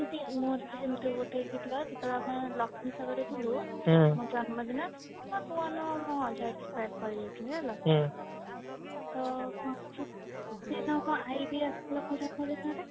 ମୋର ବି ସେମିତି ଗୋଟେ ହେଇଥିଲା ସେମିତି ଗୋଟେ ଯେତବେଳେ ଆମେ ଲକ୍ଷ୍ମୀସାଗରରେ ଥିଲୁ ମୋ ଜନ୍ମ ଦିନ ନୂଆ ନୂଆ ମୁଁ ଯାଇଛି କରିଯାଇଥିଲି ହେଲା ତ କଣ ହେଇଛି ନା ସେଇଦିନ ମୋ ଆଇ ବି ଆସିଥିଲା ମୋ ଜନ୍ମ ଦିନରେ